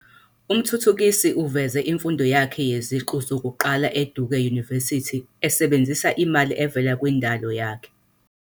Umthuthukisi uveze imfundo yakhe yeziqu zokuqala eDuke University esebenzisa imali evela kwindalo yakhe.